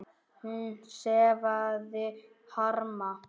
Hún sefaði harma.